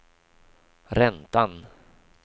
räntan